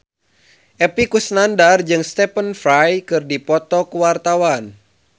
Epy Kusnandar jeung Stephen Fry keur dipoto ku wartawan